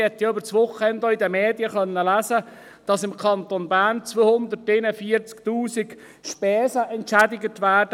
Während dem Wochenende konnte man in den Medien lesen, dass im Kanton Bern mit 241 000 Franken Spesen entschädigt werden.